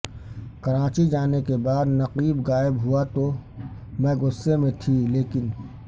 کراچی جانے کے بعد نقیب غائب ہوا تو میں غصے میں تھی لیکن